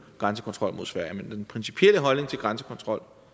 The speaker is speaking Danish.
grænsekontrollen mod sverige men i den principielle holdning til grænsekontrol